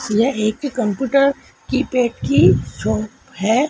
यह एक कंप्यूटर की की छौप है